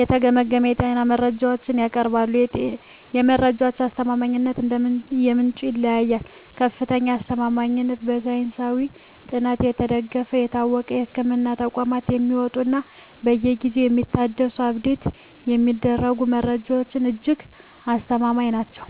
የተገመገሙ የጤና መረጃዎችን ያቀርባሉ። የመረጃዎቹ አስተማማኝነት እንደ ምንጩ ይለያያል፦ ከፍተኛ አስተማማኝነት፦ በሳይንሳዊ ጥናት የተደገፉ፣ በታወቁ የሕክምና ተቋማት የሚወጡ እና በየጊዜው የሚታደሱ (Update የሚደረጉ) መረጃዎች እጅግ አስተማማኝ ናቸው።